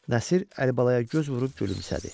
Nəsir Əlibalaya göz vurub gülümsədi.